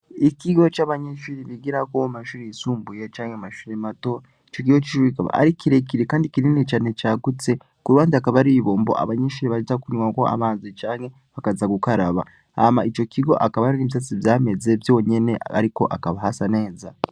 ikigo c'abanyeshure bigiramwo mumashure y'isumbuye canke mumashure mato icokigo kikaba ari kirekire kandi cagutse kuruhande hakaba hariho ibombo abanyeshure baza kunywako amazi canke bakaza gukaraba Hama icokigo hakaba hariho ivyatsi vyameze vyonyene ariko hakaba hasa neza